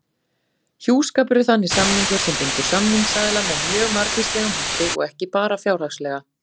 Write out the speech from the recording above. Hjúskapur er þannig samningur sem bindur samningsaðila með mjög margvíslegum hætti og ekki bara fjárhagslega.